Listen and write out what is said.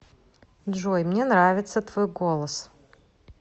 джой мне нравится твой голос